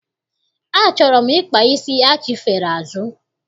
Achọrọ m ịkpa isi achifere azụ.